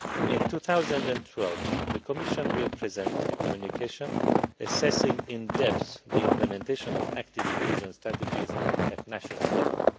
In 2012, the Commission will present a communication assessing in depth the implementation of active inclusion strategies at national level.